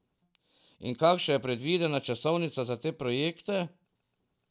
In kakšna je predvidena časovnica za te projekte?